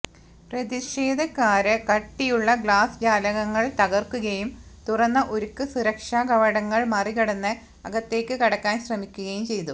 പ്രതിഷേധക്കാര് കട്ടിയുള്ള ഗ്ലാസ് ജാലകങ്ങള് തകര്ക്കുകയും തുറന്ന ഉരുക്ക് സുരക്ഷാ കവാടങ്ങള് മറികടന്ന് അകത്തേക്ക് കടക്കാന് ശ്രമിക്കുകയും ചെയ്തു